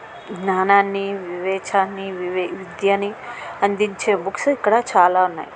జ్ఞానాన్ని వివేకాన్ని విద్యని అందించే బుక్స్ ఇక్కడ చాలా ఉన్నాయ్.